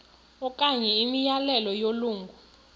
okanye imiyalelo yelungu